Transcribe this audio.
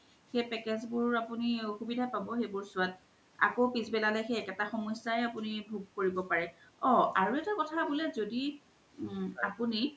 সেই package বোৰ আপুনি আসূবিধা পব চোৱাত আকৌ পিচ্বেলালে আপুনি একেতা সমস্যায়ে ভুগ কৰিব পৰে, অ আৰু এতা কথা বুলে জদি আপুনি